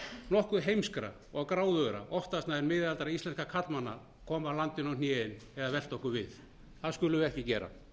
nokkuð heimskra og gráðugra oftast nær miðaldra íslenskra karlmanna koma okkur á hnén eða velta okkur við það skulum við ekki gera